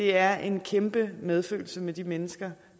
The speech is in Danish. er en kæmpe medfølelse med de mennesker